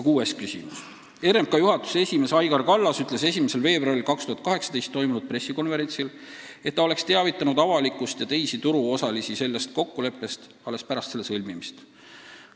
Kuues küsimus: "RMK juhatuse esimees Aigar Kallas ütles 1. veebruaril 2018 toimunud pressikonverentsil, et ta oleks teavitanud avalikkust ja teisi turuosalisi sellest kokkuleppest alles pärast selle sõlmimist.